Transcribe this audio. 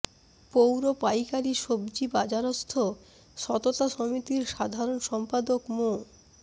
পৌর পাইকারি সবজি বাজারস্থ সততা সমিতির সাধারণ সম্পাদক মো